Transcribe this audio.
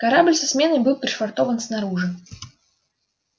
корабль со сменой был пришвартован снаружи